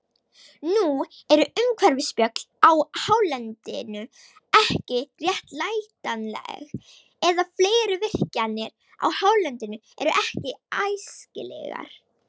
Nú eru umhverfisspjöll á hálendinu ekki réttlætanleg, eða fleiri virkjanir á hálendinu eru ekki æskilegar.